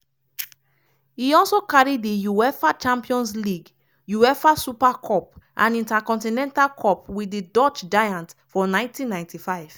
e also carry di uefa champions league uefa super cup and intercontinental cup wit di dutch giants for 1995.